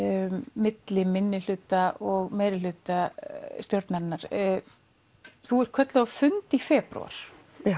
milli minnihluta og meirihluta stjórnar þú ert kölluð á fund í febrúar